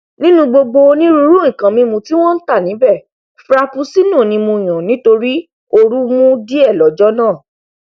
nínú gbogbo onírúirú nkan mímu tí wọn ntà níbẹ frapuccinno ni mo yàn nítorí ooru mú díẹ lọjọ náà